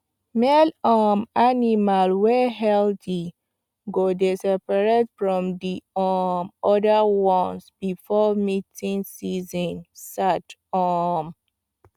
male um animal wey healthy go dey seprated from the um other ones before mating season sart um